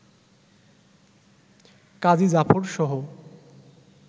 কাজী জাফরসহ